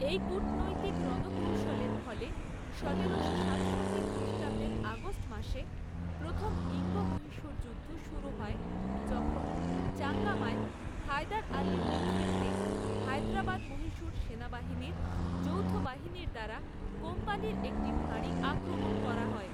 এই কূটনৈতিক রণকৌশলের ফলে সতেরোশো সাতষট্টি খ্রিষ্টাব্দের আগস্ট মাসে প্রথম ইঙ্গ মহীশূর যুদ্ধ শুরু হয় যখন চাঙ্গামায় হায়দার আলীর নেতৃত্বে হায়দরাবাদ মহীশূর সেনাবাহিনীর যৌথ বাহিনীর দ্বারা কোম্পানির একটি ফাঁড়ি আক্রমণ করা হয়।